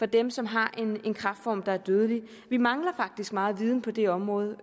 dem som har en kræftform der er dødelig vi mangler faktisk meget viden på det område